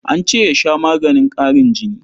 An ce ya sha maganin ƙarin jini.